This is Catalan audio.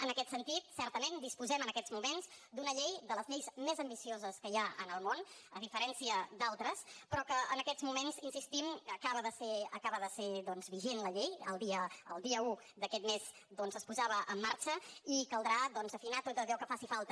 en aquest sentit certament disposem en aquests moments d’una de les lleis més ambicioses que hi ha en el món a diferència d’altres però que en aquests moments hi insistim acaba de ser vigent la llei el dia un d’aquest mes es posava en marxa i caldrà afinar tot allò que faci falta